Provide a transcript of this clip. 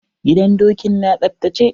Gidan dokin na tsaftace?